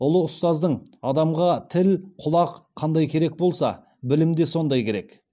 ұлы ұстаздың адамға тіл құлақ қандай керек болса білім де сондай керек